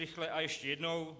Rychle a ještě jednou.